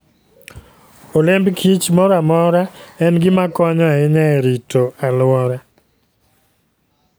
Olemb kich moro amora en gima konyo ahinya e rito alwora.